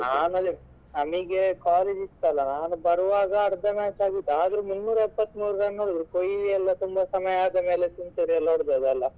ಆಮೇಲೆ ನಮಗೆ college ಇತ್ತಲ್ಲ ಬರುವಾಗ ಅರ್ಧ match ಆಗಿತ್ತು ಆದರು ಮುನ್ನೂರ ಎಪ್ಪತ್ತ ಮೂರು run Kohli ತುಂಬಾ ಸಮಯ ಆದ್ಮೇಲೆ ಎಲ್ಲ century ಎಲ್ಲ ಹೋಡ್ದದಲ್ಲ.